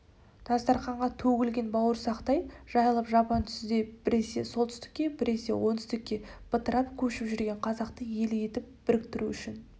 дастарқанға төгілген бауырсақтай жайылып жапан түзде біресе солтүстікке біресе оңтүстікке бытырап көшіп жүрген қазақты ел етіп біріктіру үшін